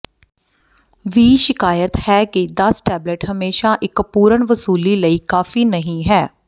ਵੀ ਸ਼ਿਕਾਇਤ ਹੈ ਕਿ ਦਸ ਟੇਬਲੇਟ ਹਮੇਸ਼ਾ ਇੱਕ ਪੂਰਨ ਵਸੂਲੀ ਲਈ ਕਾਫ਼ੀ ਨਹੀ ਹੈ